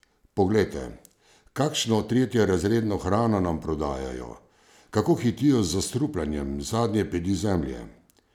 Poglejte, kakšno tretjerazredno hrano nam prodajajo, kako hitijo z zastrupljanjem zadnje pedi zemlje!